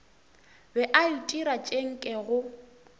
be a itira tše nkego